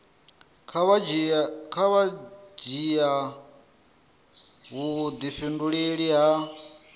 kha vha dzhia vhudifhinduleli ha